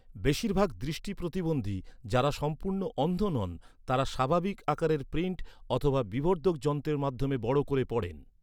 বেশিরভাগ দৃষ্টি প্রতিবন্ধী যাঁরা সম্পূর্ণ অন্ধ নন, তাঁরা স্বাভাবিক আকারের প্রিণ্ট অথবা বিবর্ধক যন্ত্রের মাধ্যমে বড় করে পড়েন।